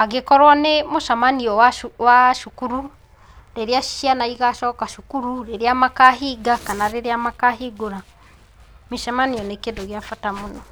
angĩkorwo nĩ mũcemanio wa, wa cukuru rĩrĩa ciana igacoka cukuru, rĩrĩa makahinga kana rĩrĩa makahingũra. Mĩcemanio nĩ kĩndũ gĩa bata mũno.